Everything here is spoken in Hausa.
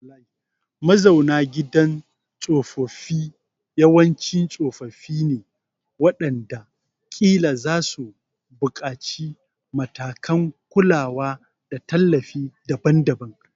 Mazauna gidan tsofaffi yawanci tsofaffi ne waɗanda ƙila za su buƙaci matakan kulawa da tallafi daban-daban.